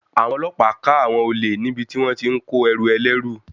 Àwọn ọlọ́pàá ká àwọn olè níbi tí wón ti ń kó ẹrù ẹlẹ́rú.